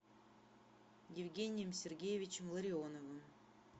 евгением сергеевичем ларионовым